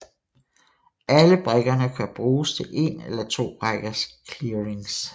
Alle brikkerne kan bruges til 1 eller 2 rækkers clearings